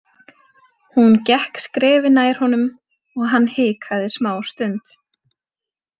Hún gekk skrefi nær honum og hann hikaði smástund.